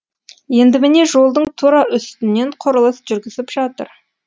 енді міне жолдың тура үстінен құрылыс жүргізіп жатыр